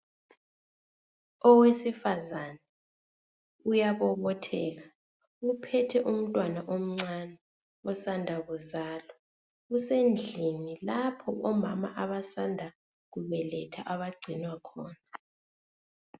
Owesifazana uyabobotheka uphethe umntwana omcani osanda kuzalwa usendlini lapha omama abasanda kubelethwa abangcinwa khona